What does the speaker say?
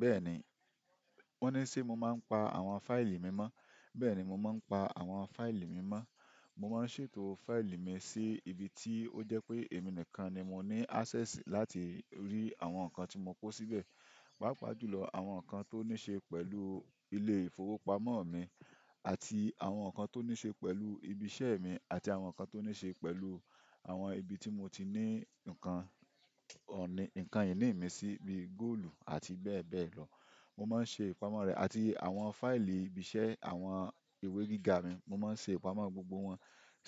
Bẹ́ẹ̀ni, ó ní ṣe mo máa ń pa àwọn fáìlì mi mọ́, bẹ́ẹ̀ni mo máa ń pa àwọn fáìlì mi mọ́. Mo máa ń ṣètò fáìlì mi sí ibi tí ó jẹ́ pé èmi nìkan ni mo ní access láti rí àwọn nǹkan tí mo kó síbẹ̀. Pàápàá jùlọ àwọn nǹkan tó ní ṣe pẹ̀lú ilé ìfowópamọ́ mi àti àwọn nǹkan tó ní ṣe pẹ̀lú ibi iṣẹ́ mi àti àwọn nǹkan tó ní ṣe pẹ̀lú àwọn ibi tí mo ti ní nǹkan, ọ̀ní, nǹkan ìní mi sí bí góòlù àti bẹ́ẹ̀ bẹ́ẹ̀ lọ. Mo máa ń ṣe ìpamọ́ rẹ̀ àti àwọn fáìlì ibi iṣẹ́, àwọn ìwé gíga mi, mo máa ń ṣe ìpamọ́ gbogbo wọn